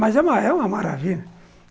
Mas é é uma maravilha.